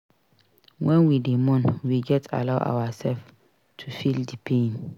wen we dey mourn we gats allow ourselves to feel di pain.